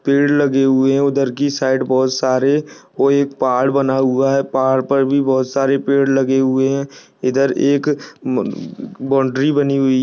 पेड़ लगे हुए हैं उधर की साइड बहोत सारे और एक पहाड़ बना हुआ है पहाड़ पर भी बहोत सारे पेड़ लगे हुए है इधर एक ब बाउन्ड्री बनी हुई --